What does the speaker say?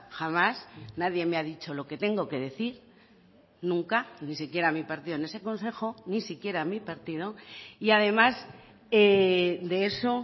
jamás nadie me ha dicho lo que tengo que decir nunca ni siquiera mi partido en ese consejo ni siquiera mi partido y además de eso